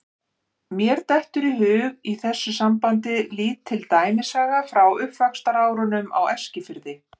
Mér dettur í hug í þessu sambandi lítil dæmisaga frá uppvaxtarárunum á Eskifirði.